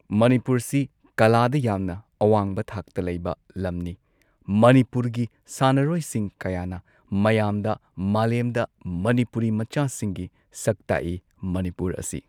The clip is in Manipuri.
ꯃꯅꯤꯄꯨꯔꯁꯤ ꯀꯂꯥꯗ ꯌꯥꯝꯅ ꯑꯋꯥꯡꯕ ꯊꯥꯛꯇ ꯂꯩꯕ ꯂꯝꯅꯤ ꯃꯅꯤꯄꯨꯔꯒꯤ ꯁꯥꯟꯅꯔꯣꯏꯁꯤꯡ ꯀꯌꯥꯅ ꯃꯌꯥꯝꯗ ꯃꯥꯂꯦꯝꯗ ꯃꯅꯤꯄꯨꯔꯤ ꯃꯆꯥꯁꯤꯡꯒꯤ ꯁꯛ ꯇꯥꯛꯏ ꯃꯅꯤꯄꯨꯔ ꯑꯁꯤ꯫